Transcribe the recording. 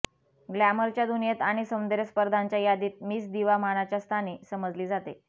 ग्लॅमरच्या दुनियेत आणि सौंदर्य स्पर्धांच्या यादीत मिस दिवा मानाच्या स्थानी समजली जाते